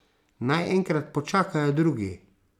Naj enkrat počakajo drugi.